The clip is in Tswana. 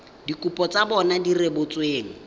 dikopo tsa bona di rebotsweng